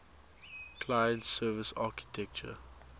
client server architecture